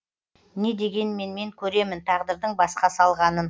не дегенмен мен көремін тағдырдың басқа салғанын